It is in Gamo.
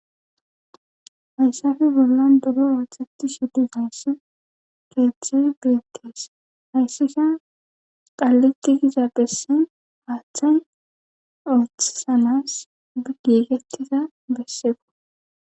Hayssafe bollan doro ooththetti shuddusayss pezdze beetees hayssisha qalliki giza bessin haaththan oothisanas bi gigetiza besseeko